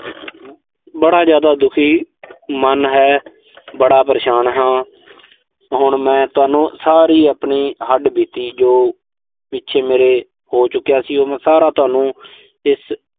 ਬੜਾ ਜ਼ਿਆਦਾ ਦੁਖੀ ਮਨ ਹੈ। ਬੜਾ ਪਰੇਸ਼ਾਨ ਹਾਂ। ਹੁਣ ਮੈਂ ਤੁਹਾਨੂੰ ਸਾਰੀ ਆਪਣੀ ਹੱਡਬੀਤੀ ਜੋ ਪਿੱਛੇ ਮੇਰੇ ਹੋ ਚੁੱਕਿਆ ਸੀ, ਉਹ ਮੈਂ ਸਾਰਾ ਤੁਹਾਨੂੰ ਇਸ